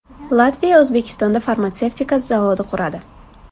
Latviya O‘zbekistonda farmatsevtika zavodi quradi.